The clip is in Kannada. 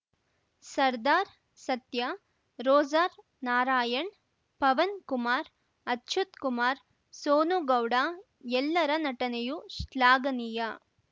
ಸರ್ದಾರ್‌ ಸತ್ಯ ರೋಜರ್‌ ನಾರಾಯಣ್‌ ಪವನ್‌ಕುಮಾರ್‌ ಅಚ್ಯುತ್‌ ಕುಮಾರ್‌ ಸೋನು ಗೌಡ ಎಲ್ಲರ ನಟನೆಯೂ ಶ್ಲಾಘನೀಯ